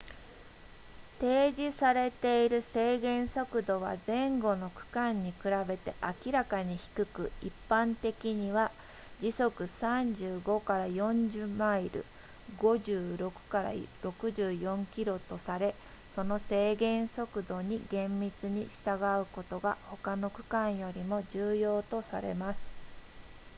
提示されている制限速度は前後の区間に比べて明らかに低く一般的には時速 35～40 マイル 56～64 キロとされその制限速度に厳密に従うことが他の区間よりも重要とされます